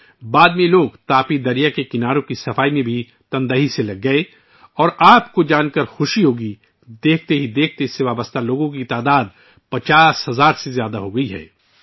بعد میں ان لوگوں نے خلوصِ دِل سے تاپی دریا کے کناروں کی صفائی میں حصہ لیا اور آپ کو یہ جان کر خوشی ہوگی کہ کچھ ہی عرصے میں اس سے وابستہ افراد کی تعداد 50 ہزار سے تجاوز کر گئی ہے